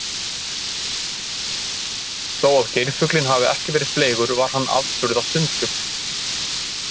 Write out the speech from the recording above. Þó að geirfuglinn hafi ekki verið fleygur var hann afburða sundfugl.